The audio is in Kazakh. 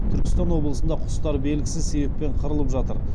түркістан облысында құстар белгісіз себеппен қырылып жатыр